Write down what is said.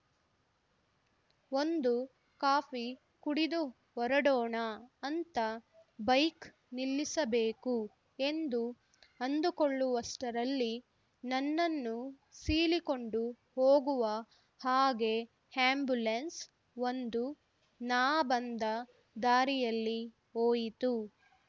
ಒಂದು ಕಾಫಿ ಕುಡಿದು ಹೊರಡೋಣ ಅಂತ ಬೈಕ್‌ ನಿಲ್ಲಿಸಬೇಕು ಎಂದು ಅಂದುಕೊಳ್ಳುವಷ್ಟರಲ್ಲಿ ನನ್ನನ್ನು ಸೀಳಿಕೊಂಡು ಹೋಗುವ ಹಾಗೆ ಆಂಬ್ಯುಲೆನ್ಸ್‌ ಒಂದು ನಾ ಬಂದ ದಾರಿಯಲ್ಲಿ ಹೋಯಿತು